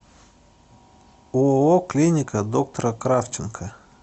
ооо клиника доктора кравченко